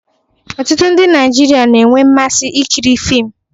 Ọtụtụ ndị Naijiria na-enwe mmasị ikiri fiim